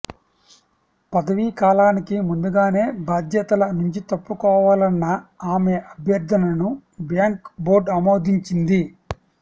పదవీ కాలానికి ముందుగానే బాధ్యతల నుంచి తప్పుకోవాలన్న ఆమె అభ్యర్థనను బ్యాంక్ బోర్డ్ ఆమోదించింది